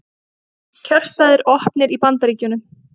Kjörstaðir opnir í Bandaríkjunum